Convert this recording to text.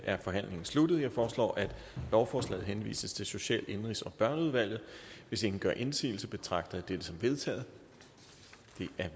er forhandlingen sluttet jeg foreslår at lovforslaget henvises til social indenrigs og børneudvalget hvis ingen gør indsigelse betragter jeg dette som vedtaget